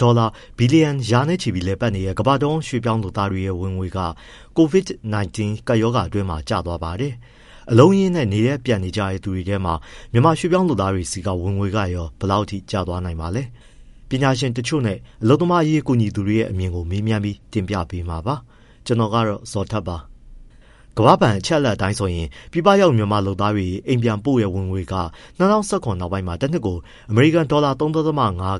ဒေါ်လာဘီလီယံ ရာနဲ့ချီလည်ပတ်နေတဲ့ ကမ္ဘာ့တဝန်း ရွှေ့ပြောင်းလုပ်သားတွေရဲ့ ဝင်ငွေက COVID-19 ကပ်ရောဂါအတွင်းမှာ ကျသွားပါတယ်။ အလုံးအရင်းနဲ့ နေရပ်ပြန်ကြတဲ့ သူတွေထဲမှာ မြန်မာရွှေ့ပြောင်း လုပ်သားတွေဆီက ဝင်ငွေကရော ဘယ်လောက်အထိ ကျသွားနိုင်ပါလဲ။ ပညာရှင်တချို့နဲ့ အလုပ်သမားအရေးကူညီသူတွေရဲ့ အမြင်ကို ကိုဇော်ထက်က မေးမြန်း တင်ပြထားပါတယ်။ ကမ္ဘာ့ဘဏ်အချက်အလက် အရပြည်ပရောက်မြန်မာလုပ်သားတွေ အိမ်ပြန်ပို့ငွေက ၂၀၁၇ နောက်ပိုင်းတနှစ်ကို ဒေါ်လာ ၃.၅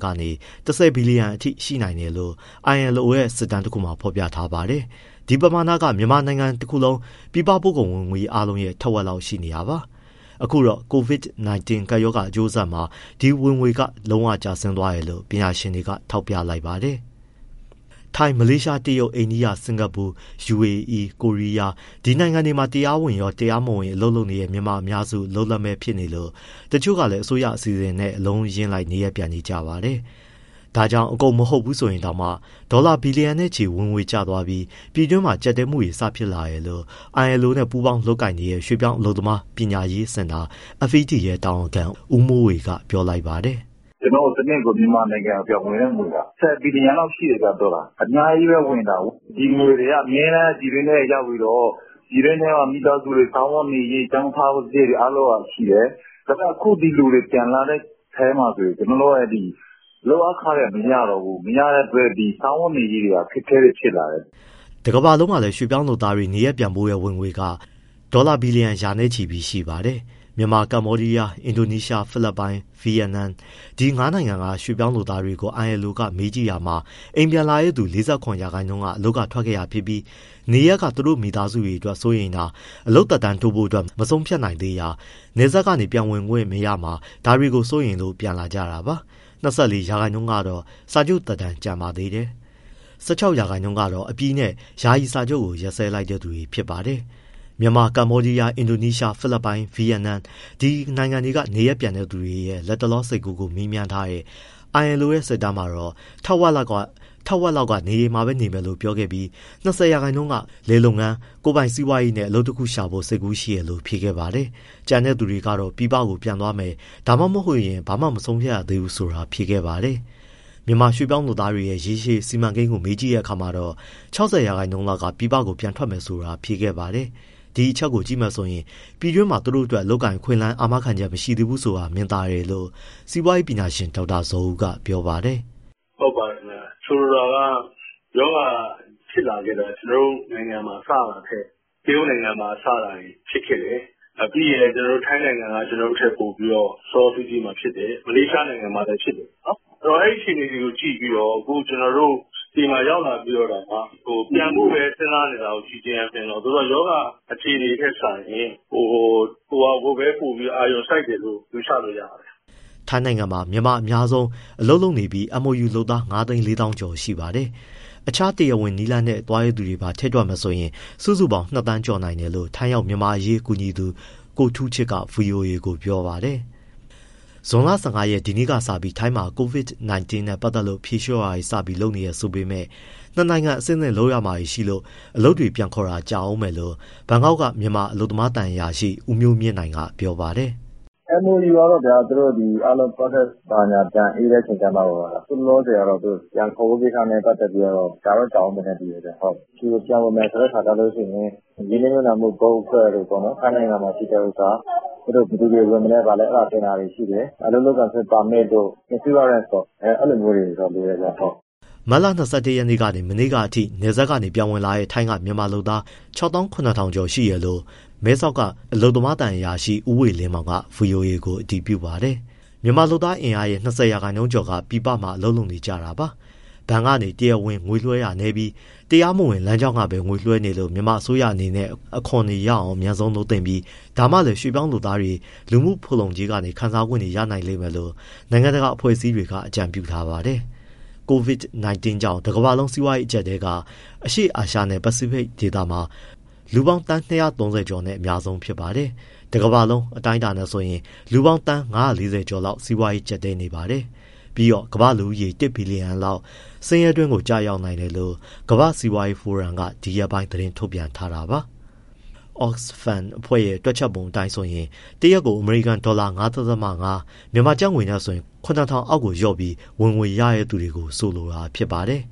ကနေ ၁၀ ဘီလီယံအထိရှိတယ်လို့ ILO ရဲ့ စစ်တမ်းတခုမှာ ဖော်ပြထားပါတယ်။ ဒီပမာဏက မြန်မာတနိုင်ငံလုံး ပြည်ပပို့ကုန်ဝင်ငွေ အားလုံးရဲ့ ထက်ဝက်လောက် ရှိနေတာပါ။ အခုတော့ COVID-19 ကပ်ရောဂါ အကျိုးဆက်မှာ ဒီဝင်ငွေက လုံးဝကျဆင်းသွားတယ်လို့ ပညာရှင်တွေက ထောက်ပြလိုက်ပါတယ်။ ထိုင်း၊ မလေးရှား၊ တရုတ်၊ အိန္ဒိယ၊ စင်္ကာပူ၊ ယူအေအီး၊ ကိုရီးယား ဒီနိုင်ငံတွေမှာ တရားဝင်ရော၊ တရားမဝင် အလုပ်လုပ်နေတဲ့ မြန်မာအများစု အလုပ်လက်မဲ့ဖြစ်နေလို့ တချို့ကလည်း အစိုးရအစီအစဉ်နဲ့ အလုံးအရင်းလိုက် နေရပ်ပြန်နေကြပါတယ်။ ဒါကြောင့် အကုန်မဟုတ်ဘူးဆိုရင်တောင်မှ ဒေါ်လာ ဘီလျံနဲ့ချီဝင်ငွေ ကျသွားလို့ ပြည်တွင်းမှာ ကျပ်တည်းမှုတွေ စဖြစ်လာတယ်လို့ ILO နဲ့ ပူးပေါင်းလုပ်ကိုင်နေတဲ့ ရွှေ့ပြောင်းအလုပ်သမား ပညာရေးစင်တာ FED တာဝန်ခံ ဦးမိုးဝေက ပြောပါတယ်။ “ ကျနော်တို့ တနှစ်ကို မြန်မာနိုင်ငံ ပြန်ဝင်တဲ့ငွေက ၁၀ ဘီလျံလောက်ရှိတယ် ဒေါ်လာ။ အများကြီးပဲဝင်တာ။ ဒီငွေတွေက အမြဲတမ်း ပြည်တွင်းထဲရောက်ပြီးတော့ မိသားစုတွေ စားဝတ်နေရေး၊ ကျောင်းထားစရိတ်တွေ ရှိတယ်။ ဒါပေမဲ့ အခု ဒီလူတွေ ပြန်လာတဲ့အထဲမှာဆိုရင် လုပ်အားခတွေ မရတော့ဘူး။ မရတဲ့အတွက် စားဝတ်နေရေးက အခက်အခဲတွေ ဖြစ်လာတယ်။” တကမ္ဘာလုံးမှာလည်း ရွှေ့ပြောင်းလုပ်သားတွေ နေရပ်ပြန်ပို့တဲ့ ဝင်ငွေပမာဏဟာ ဒေါ်လာ ဘီလီယံ ရာနဲ့ချီပါတယ်။ မြန်မာ၊ ကမ္ဘောဒီယား၊ အင်ဒိုနီးရှား၊ ဖိလစ်ပိုင်၊ ဗီယက်နမ် ဒီငါးနိုင်ငံက ရွှေ့ပြောင်းလုပ်သားတွေကို ILO က မေးကြည့်တာမှာ အိမ်ပြန်လာတဲ့သူ ၄၇ ရာခိုင်နှုန်းက အလုပ်ထွက်ခဲ့တာဖြစ်ပြီး နေရပ်က သူတို့မိသားစုအတွက် စိုးရိမ်တာ၊ အလုပ်သက်တမ်းတိုးဖို့ မဆုံးဖြတ်နိုင်သေးတာ၊ နယ်စပ်ကနေ ပြန်ဝင်ခွင့်မရမှာ ဒါတွေကို စိုးရိမ်လို့ ပြန်လာကြတာပါ။၂၄ ရာခိုင်နှုန်းကတော့ စာချုပ်သက်တမ်းကျန်ပါသေးတယ်။ ၁၆ ရာခိုင်နှုန်းကတော့ အပြီးနဲ့ ယာယီစာချုပ် ရပ်စဲလိုက်တဲ့ သူတွေပါ။ မြန်မာ၊ ကမ္ဘောဒီးယား၊ အင်ဒိုနီးရှား၊ ဖိလစ်ပိုင်နဲ့ ဗီယက်နမ် ဒီနိုင်ငံတွေက နေရပ်ပြန်တွေရဲ့ လတ်တလော စိတ်ကူးကို မေးမြန်းထားတဲ့ ILO ရဲ့ စစ်တမ်းမှာ ထက်ဝက်လောက်က အိမ်မှာပဲနေမယ်လို့ဖြေပြီး၊ ၂၀ ရာခိုင်နှုန်းက လယ်လုပ်ငန်း၊ ကိုယ်ပိုင်စီးပွားရေးနဲ့ အလုပ်တခုခုရှာဖို့ စိတ်ကူးရှိတယ်လို့ဖြေခဲ့ပါတယ်။ ကျန်တဲ့သူတွေကတော့ ပြည်ပပြန်သွားမယ် ဘာမှမဆုံးဖြတ်ရသေးဘူးဆိုတာ ဖြေခဲ့တာပါ။ မြန်မာရွှေ့ပြောင်းလုပ်သားတွေရဲ့ ရေရှည်စီမံကိန်းကို မေးကြည့်တဲ့အခါမှာတော့ ၆၀ ရာခိုင်နှုန်းလောက်က ပြည်ပကို ပြန်ထွက်မယ်ဆိုတာ ဖြေခဲ့ပါတယ်။ ဒီအချက်ကို ကြည့်မယ်ဆိုရင် ပြည်တွင်းမှာ သူတို့အတွက် အလုပ်အကိုင်အခွင့်အလမ်း အာမခံချက် မရှိသေးဘူးဆိုတာ မြင်သာတယ်လို့ စီးပွားရေးပညာရှင် ဒေါက်တာဇော်ဦးက ပြောပါတယ်။ “ ဟုတ်ပါတယ်ခင်ဗျ၊ ဆိုလိုတာက ရောဂါဖြစ်လာခဲ့တာ ကျနော်တို့နိုင်ငံမှာ စတာထက် တရုတ်နိုင်ငံမှာစတာ ဖြစ်ခဲ့တယ်။ ပြီးရင်လည်း ထိုင်းနိုင်ငံက ကျနော်တို့ထက်ပိုပြီး စောစောစီးစီးမှာဖြစ်တယ်။ မလေးရှားနိုင်ငံမှာလည်းဖြစ်တယ်။ ဆိုတော့ အဲဒီအခြေအနေတွေကို ကြည့်ပြီးတော့ ကျနော်တို့ဆီမှာ ရောက်လာပြီး ပြန်ဖို့ပဲစဉ်းစားနေတာကို ကြည့်ခြင်းအားဖြင့်တော့ ရောဂါအခြေအနေထက်စာရင် ဟိုဟာ ကိုပဲ အာရုံစိုက်တယ်လို့ ယူဆလို့ ရပါတယ်။” ထိုင်းနိုင်ငံမှာ မြန်မာအများဆုံး အလုပ်လုပ်နေပြီး MOU လုပ်သား ၅၄၀၀၀၀ ကျော်ရှိပါတယ်။ တခြားတရားဝင်နည်းလမ်းတွေနဲ့ သွားတဲ့သူတွေပါ ထည့်တွက်မယ်ဆိုရင် စုစုပေါင်း ၂သန်းကျော်နိုင်တယ်လို့ ထိုင်းရောက်မြန်မာ့အရေးကူညီသူ ကိုထူးချစ်က ဗွီအိုအေကိုပြောပါတယ်။ ဇွန်လ ၁၅ရက် ဒီနေ့ကစပြီး ထိုင်းမှာ COVID-19 နဲ့ပတ်သက်လို့ ဖြေလျှော့တာတွေ စလုပ်နေပြီဆိုပေမဲ့ နှစ်နိုင်ငံ အဆင့်ဆင့်လုပ်ရမှာတွေရှိလို့ အလုပ်တွေ ပြန်ခေါ်ဖို့က ကြာဦးမယ်လို့ ဘန်ကောက်က မြန်မာ အလုပ်သမားသံအရာရှိ ဦးမျိုးမြင့်နိုင်က ပြောပါတယ်။ “ MOU ကတော့ဗျာ သူတို့ process တွေဘာတွေ အေးတဲ့အခါကျမှ၊ အခုလောလောဆယ်ကတော့ ပြန်ခေါ်ဖို့ကိစ္စ ကြာတော့ ကြာဦးမယ်ထင်တယ်ဗျ။ ပြန်ဝင်မယ်ဆိုရင် ရင်းနှီးမြှုပ်နှံ့မှု board အဖွဲ့တို့ ထိုင်းမှာရှိတဲ့ဟာ၊ ဘယ်သူတွေဝင်မလဲ အဲဒါတွေတင်တာရှိတယ်။ အလုပ်လုပ်ခွင့် ပါမစ်တို့၊ အာမခံတို့ အဲလိုမျိုးတွေ လိုတယ်ဗျ။” မတ်လ ၂၁ ရက်ကနေ မနေ့ကအထိ နယ်စပ်ကနေပြန်ဝင်လာတဲ့ ထိုင်းက မြန်မာလုပ်သား ၆၇၀၀၀ ကျော်တယ်လို့ မဲဆောက်က အလုပ်သမားသံအရာရှိ ဦးဝေလင်းမောင်က ဗွီအိုအေကို အတည်ပြုပါတယ်။ မြန်မာ့လုပ်သားအင်အားရဲ့၂၀ ရာခိုင်နှုန်းကျော်က ပြည်ပမှာ လုပ်နေကြတာပါ။ ဘဏ်ကနေ တရားဝင် ငွေလွှဲတာနည်းပြီး တရားမဝင်လမ်းကြောင်းကပဲ ငွေလွှဲနေလို့ မြန်မာအစိုးရအနေနဲ့ အခွန်ရအောင် အမြန်ဆုံး လုပ်သင့်ပြီး ဒါမှလည်း ရွှေ့ပြောင်းလုပ်သားတွေ လူမှုဖူလုံကြေးကနေ ခံစားခွင့်ရနိုင်မယ်လို့ နိုင်ငံတကာ အဖွဲ့အစည်း တွေက အကြံပြုထားပါတယ်။ COVID-19 ကြောင့် တကမ္ဘာလုံး စီးပွားရေး အကျပ်အတည်းက အရှေ့အာရှနဲ့ ပစိဖိတ်ဒေသမှာ လူ သန်း ၂၃၀ ကျော်နဲ့ အများဆုံးပါ။ တကမ္ဘာလုံး အတိုင်းအတာနဲ့ဆိုရင် လူပေါင်း သန်း ၅၄၀ ကျော်လောက် စီးပွားရေး ကျပ်တည်းနေပါတယ်။ ပြီးတော့ ကမ္ဘာ့လူဦးရေ တစ်ဘီလီယံလောက် ဆင်းရဲတွင်းကို ကျရောက်နိုင်တယ်လို့ ကမ္ဘာ့စီးပွားရေးဖိုရမ် World Economic Forum က ဒီရက်ပိုင်း သတင်းထုတ်ပြန်ခဲ့တာပါ။ Oxfam တွက်ချက်ပုံ အတိုင်းဆိုရင် တရက်ကို အမေရိကန်ဒေါ်လာ ၅.၅ ( ပျမ်းမျှ ကျပ်ငွေ ၇၀၀၀ ) အောက်ကိုလျော့ပြီး ဝင်ငွေရတဲ့ သူတွေကို ဆိုလိုတာဖြစ်ပါတယ်